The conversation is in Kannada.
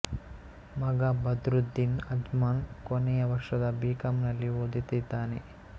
ಮಗ ಬದ್ರುದ್ದೀನ್ ಅಜ್ಮನ್ ಕೊನೆಯ ವರ್ಷದ ಬಿ ಕಾಂ ನಲ್ಲಿ ಓದುತ್ತಿದ್ದಾನೆ